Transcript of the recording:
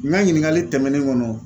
N ka ɲininkali tɛmɛnen kɔnɔ.